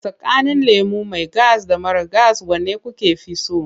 Tsakanin lemo mai gas da mara gas wane kuka fi so?